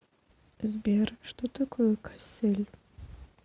сбер что такое кассель